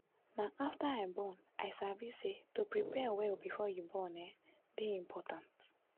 na after i born i sabi say to prepare well before you born um dey important